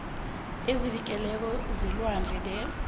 ezivikelweko zelwandle the